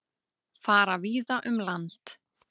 Fara víða um land